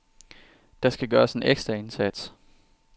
Der skal gøres en ekstra indsats.